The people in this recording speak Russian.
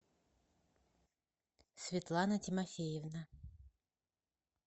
светлана тимофеевна